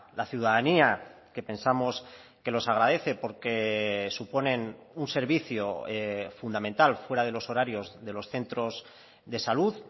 la ciudadanía que pensamos que los agradece porque suponen un servicio fundamental fuera de los horarios de los centros de salud